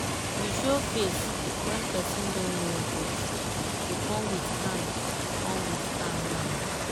you show face when person no know but you come with calm come with calm mind.